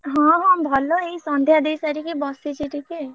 ହଁ ହଁ ଭଲ ଏଇ ସନ୍ଧ୍ୟା ଦେଇସାରିକି ବସିଛି ଟିକେ।